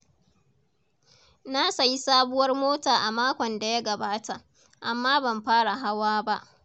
Na sayi sabuwar mota a makon da ya gabata, amma ban fara hawa ba.